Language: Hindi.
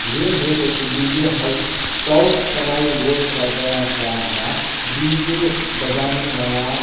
ये है एक डी.जे. हाउस चौक सराई रोड के गया हुआ हुआ डी.जे. बजाने वाला --